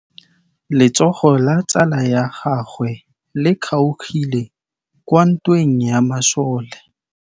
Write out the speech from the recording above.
Letsôgô la tsala ya gagwe le kgaogile kwa ntweng ya masole.